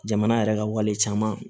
Jamana yɛrɛ ka wale caman